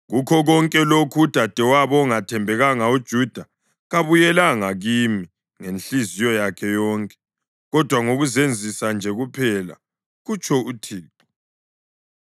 Kukho konke lokhu, udadewabo ongathembekanga uJuda kabuyelanga kimi ngenhliziyo yakhe yonke, kodwa ngokuzenzisa nje kuphela,” kutsho uThixo.